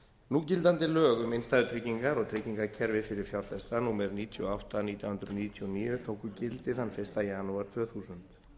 núgildandi lög um innstæðutryggingar og tryggingakerfi fyrir fjárfesta númer níutíu og átta nítján hundruð níutíu og níu tóku gildi þann fyrsta janúar tvö þúsund